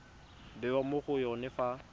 bewa mo go yone fa